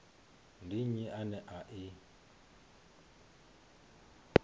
ndi nnyi ane a i